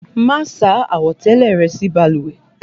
Máa sá àwọ̀tẹ́lẹ̀ rẹ sí balùwẹ̀!